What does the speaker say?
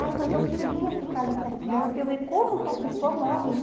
Aí, mas eu queria ficar ali perto dela para eu ver como que uma pessoa morre, né?